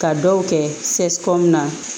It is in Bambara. Ka dɔw kɛ na